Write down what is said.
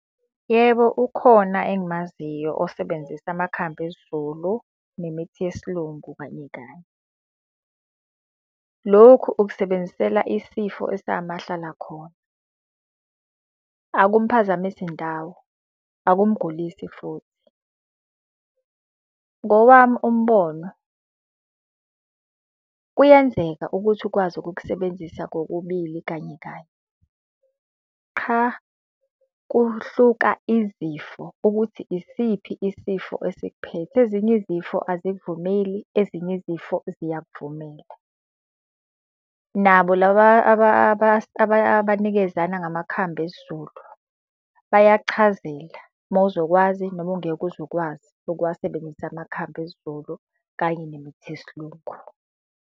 Yebo ukhona engimaziyo osebenzisa amakhambi esizulu nemithi yesilungu kanye kanye. Lokhu ukusebenzisela isifo esingamahlala khona. Akumuphazamisi ndawo, akumugulisi futhi. Ngowami umbono kuyenzeka ukuthi ukwazi ukukusebenzisa kokubili kanye kanye. Qha, kuhluka izifo ukuthi isiphi isifo esikuphethe, ezinye izifo azikuvumeli, ezinye izifo ziyakuvumela. Nabo laba abanikezana ngamakhambi esizulu, bayakuchazela uma uzokwazi noma ungeke uze ukwazi ukuwasebenzisa amakhambi esizulu kanye nemithi yesilungu.